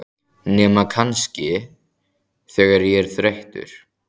Nema kannski, þegar ég er þreyttur.